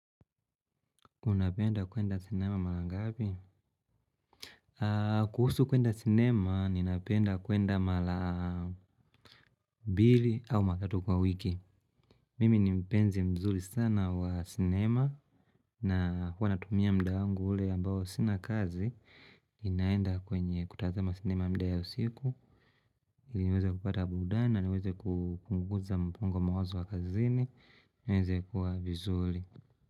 Unapenda kuenda sinema mara ngapi? Kuhusu kuenda cinema, ninapenda kuenda mahali aah mbili au matatu kwa wiki. Mimi ni mpenzi mzuri sana wa sinema, na huwa natumia muda wangu ule ambao sina kazi, ninaenda kwenye kutazama cinema mda ya usiku, niweze kupata burudani na niweze kupunguza mpungo wa mawazo wa kazini, niweze kuwa vizuri.